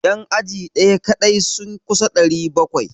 Yan aji daya kadai sun kusa 700.